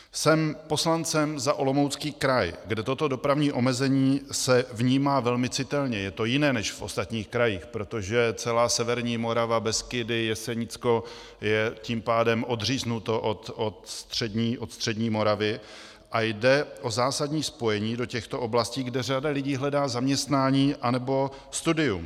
Jsem poslancem za Olomoucký kraj, kde toto dopravní omezení se vnímá velmi citelně, je to jiné než v ostatních krajích, protože celá severní Morava, Beskydy, Jesenicko je tím pádem odříznuto od střední Moravy, a jde o zásadní spojení do těchto oblastí, kde řada lidí hledá zaměstnání nebo studium.